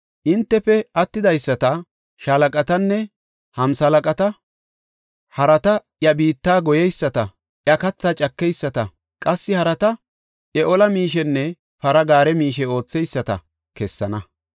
Entafe attidaysata shaalaqatanne hamsalaqata, harata iya biitta goyeyisata iya kathaa cakeyisata, qassi harata iya ola miishenne para gaare miishe ootheyisata kessana.